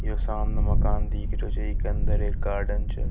इ सामने एक मकान दिख रहो छ इ के अंदर गार्डन छ।